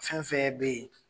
fɛn fɛn bɛ yen.